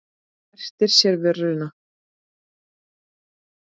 Og merkti sér vöruna.